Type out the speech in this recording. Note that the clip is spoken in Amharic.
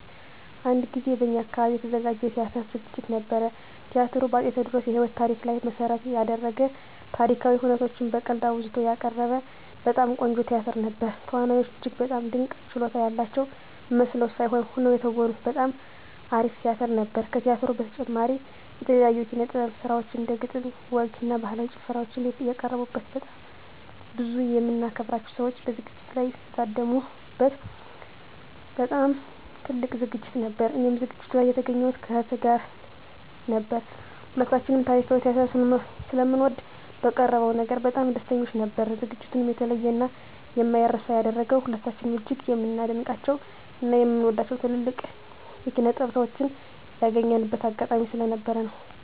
አንድ ጊዜ በእኛ አካባቢ የተዘጋጀ የቲያትር ዝግጅት ነበር። ቲያትሩ በ አፄ ቴዎድሮስ የህይወት ታሪክ ላይ መሰረት የደረገ ታሪካዊ ሁነቶችን በቀልድ አዋዝቶ ያቀረበ በጣም ቆንጆ ቲያትር ነበር። ተዋናዮቹ እጅግ በጣም ድንቅ ችሎታ ያላቸው መስለው ሳይሆን ሆነው የተወኑበት በጣም አሪፍ ቲያትር ነበር። ከቲያትሩ በተጨማሪም የተለያዩ የኪነ - ጥበብ ስራዎች እንደ ግጥም፣ ወግ እና ባህላዊ ጭፈራዎች የቀረቡበት በጣም ብዙ የምናከብራቸው ሰዎች በዝግጅቱ ላይ የታደሙ በት በጣም ትልቅ ዝግጅት ነበር። እኔም ዝግጅቱ ላይ የተገኘሁት ከእህቴ ጋር ነበር። ሁለታችንም ታሪካዊ ቲያትር ስለምንወድ በቀረበው ነገር በጣም ደስተኞች ነበርን። ዝግጅቱንም የተለየ እና የማይረሳ ያደረገው ሁለታችንም እጅግ የምናደንቃቸው እና የምንወዳቸውን ትልልቅ የኪነ -ጥበብ ሰዎችን ያገኘንበት አጋጣሚ ስለነበር ነው።